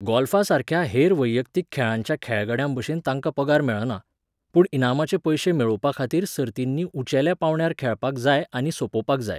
गॉल्फासारक्या हेर वैयक्तीक खेळांच्या खेळगड्यांभशेन तांकां पगार मेळना. पूण इनामाचे पयशे मेळोवपाखातीर सर्तींनी उंचेल्या पांवड्यार खेळपाक जाय आनी सोंपोवपाक जाय.